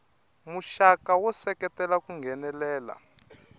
muxaka wo seketela ku nghenelela